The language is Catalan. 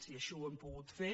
i així ho hem pogut fer